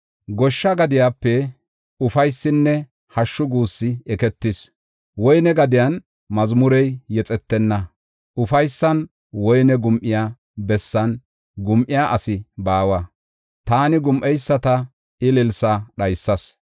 Goshsha gadiyape ufaysinne hashshu guussi eketis. Woyne gadiyan mazmurey yexetenna. Ufaysan woyne gum7iya bessan gum7iya asi baawa; taani gum7eyisata ililsaa dhaysas.